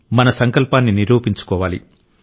మన సంకల్పాన్ని నిరూపించుకోవాలి